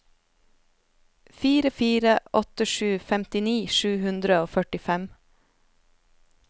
fire fire åtte sju femtini sju hundre og førtifem